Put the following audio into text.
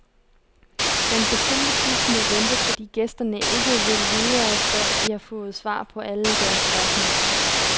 Den bestilte bus må vente, fordi gæsterne ikke vil videre, før de har fået svar på alle deres spørgsmål.